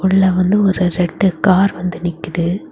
உள்ள வந்து ஒரு ரெண்டு கார் வந்து நிக்குது.